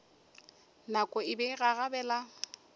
nako e be e gagabela